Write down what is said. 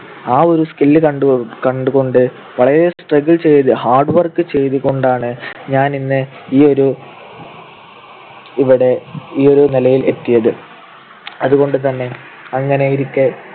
ആ ഒരു skill കണ്ടുകൊണ്ട് വളരെ struggle ചെയ്ത് hard work ചെയ്‌തു കൊണ്ടാണ് ഞാൻ ഇന്ന് ഈ ഒരു ഇവിടെ ഈ ഒരു നിലയിൽ എത്തിയത്. അതുകൊണ്ടുതന്നെ അങ്ങനെയിരിക്കെ